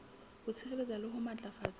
ho sireletsa le ho matlafatsa